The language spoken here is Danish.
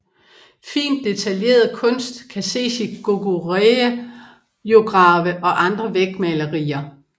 Fint detaljeret kunst kan ses i Goguryeo grave og andre vægmalerier